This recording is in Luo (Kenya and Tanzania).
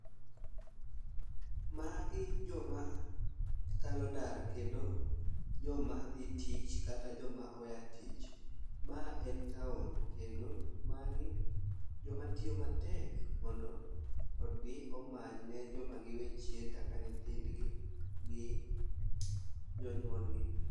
Magi joma kalo ndara kendo joma dhi tich kata joma oya tich. Ma en town kendo magi joma tiyo matek mondo odhi omanyne joma giwe chien kaka nyithindgi gi jonyuolgi.